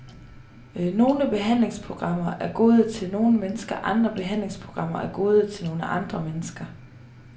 Nogle behandlingsprogrammer er gode til nogle mennesker, andre behandlingsprogrammer er gode til nogle andre mennesker.